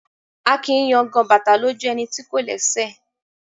A kìí yangan bàtà lójú ẹni tí kò lẹ́sẹ̀